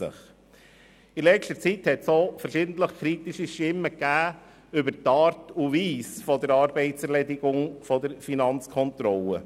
In letzter Zeit gab es verschiedentlich auch kritische Stimmen über die Art und Weise der Arbeitserledigung der Finanzkontrolle.